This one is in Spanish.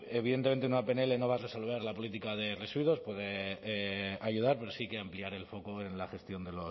evidentemente una pnl no va a resolver la política de residuos puede ayudar pero sí que ampliar el foco en la gestión